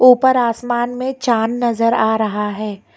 ऊपर आसमान में चांद नजर आ रहा है।